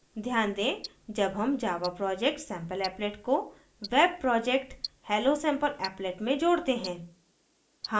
ध्यान दें जब हम java project sampleapplet को web project hellosampleapplet में जोड़ते हैं